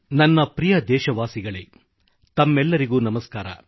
ನನ್ನ ಪ್ರಿಯ ದೇಶವಾಸಿಗಳೇ ತಮ್ಮೆಲ್ಲರಿಗೂ ನಮಸ್ಕಾರ